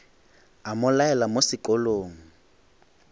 a mo laela mo sekolong